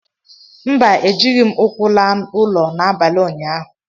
mba, ejighị m ụkwụ laa ụlọ n'abalị ụnyaahụ